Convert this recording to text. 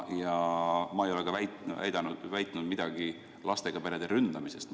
Ja ma ei ole midagi rääkinud lastega perede ründamisest.